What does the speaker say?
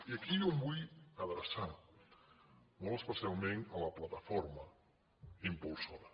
i aquí jo em vull adreçar molt especialment a la plataforma impulsora